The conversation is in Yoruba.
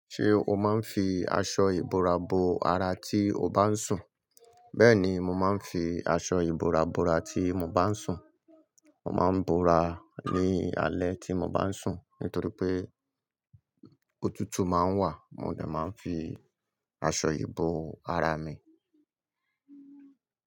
Ṣé o máa ń fi aṣọ ìbora bo ara tí o bá ń sùn? Bẹ́ẹ̀ni, mo máa ń fi aṣọ ìbora bora tí mo bá ń sùn. Mo máa ń bora ní alẹ́ tí mo bá ń sùn. Nítorí pé òtútù máa ń wà. Mo dè máa ń fi aṣọ ìbo ara mi.